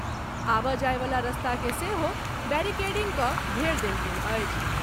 आबऽजायवला रस्ता के सेहो बैरिकेडिंग कऽ घेर देल गेल अछि।